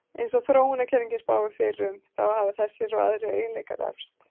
Eins og þróunarkenningin spáir fyrir um, þá hafa þessir og aðrir eiginleikar erfst.